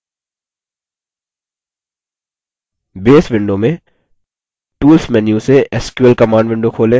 base window में tools menu से sql command window खोलें